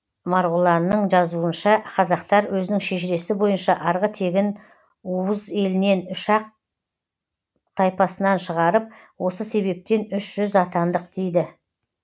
марғұланның жазуынша қазақтар өзінің шежіресі бойынша арғы тегін ууз елінен үш ақ тайпасынан шығарып осы себептен үш жүз атандық дейді